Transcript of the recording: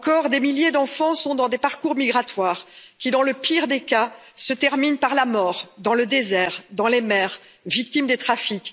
Des milliers d'enfants sont encore dans des parcours migratoires qui, dans le pire des cas, se terminent par la mort, dans le désert, dans les mers, victimes des trafics.